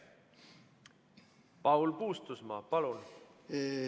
Paul Puustusmaa, palun!